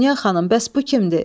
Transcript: Dünya xanım, bəs bu kimdir?